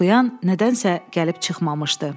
Oxuyan nədənsə gəlib çıxmamışdı.